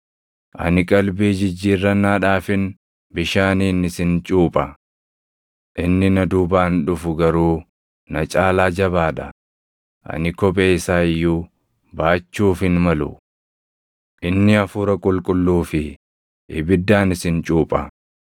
“Ani qalbii jijjiirrannaadhaafin bishaaniin isin cuupha. Inni na duubaan dhufu garuu na caalaa jabaa dha; ani kophee isaa iyyuu baachuuf hin malu. Inni Hafuura Qulqulluu fi ibiddaan isin cuupha.